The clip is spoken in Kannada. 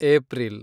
ಏಪ್ರಿಲ್